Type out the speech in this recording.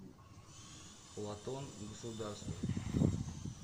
платон государство